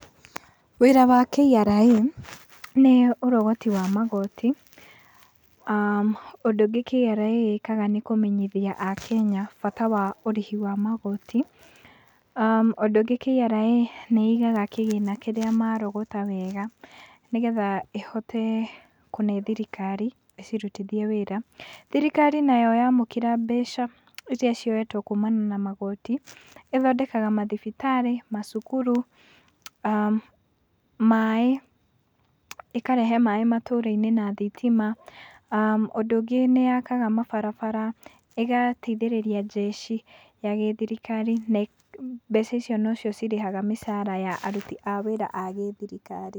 Wĩra wa KRA nĩ ũrogoti wa magoti. Ũndũ ũngĩ, KRA ĩkaga nĩ kũmenyithia Akenya bata wa ũrĩhi wa magoti. Ũndũ ũngĩ, KRA nĩ ĩigaga kĩria marogota wega, nĩgetha ĩhote kũhe thirikari ĩcirutithie wĩra. Thirikari nayo yamũkĩra mbeca ĩria cioetwo kũmania na magoti, ĩthondekaga mathibitarĩ, macukuru, maaĩ, ĩkarehe maaĩ matũra-inĩ na thitima. Ũndũ ũngĩ nĩ yakaga mabarabara, ĩgateithĩrĩria jeshi ya gĩthirikari, na mbeca icio no cio cirĩhaga mĩcara ya aruti a wĩra a gĩthirikari.